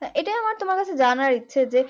হ্যাঁ এটাই আমার তোমার কাছে জানার ইচ্ছা যে